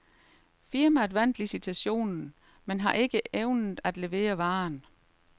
Firmaet vandt licitationen, men har ikke evnet at levere varen.